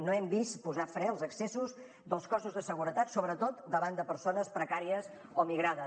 no hem vist posar fre als excessos dels cossos de seguretat sobretot davant de persones precàries o migrades